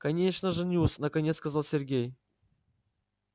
конечно женюсь наконец сказал сергей